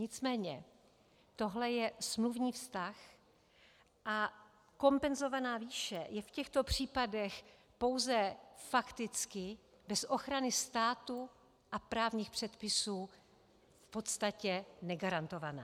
Nicméně tohle je smluvní vztah a kompenzovaná výše je v těchto případech pouze fakticky bez ochrany státu a právních předpisů v podstatě negarantovaná.